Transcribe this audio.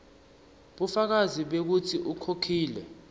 bufakazi bekutsi ukhokhile